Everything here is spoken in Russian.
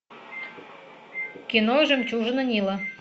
кино жемчужина нила